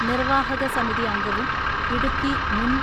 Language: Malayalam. നിർവ്വാഹകസമിതി അംഗവും ഇടുക്കി മുൻ